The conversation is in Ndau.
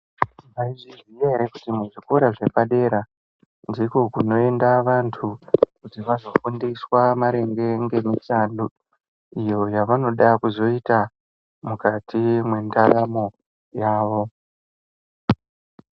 Maizviziya ere kuti muzvikora zvepadera ndiko kungoenda vantu kuti vazofundiswa maringe ngemishando iyo yavanoda kuzoita mukati mwendaramo yavo.